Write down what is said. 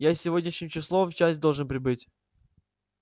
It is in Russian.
я сегодняшним числом в часть должен прибыть